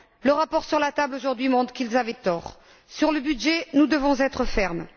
Le rapport sur la table aujourd'hui montre qu'ils avaient tort. Sur la question du budget, nous devons être fermes.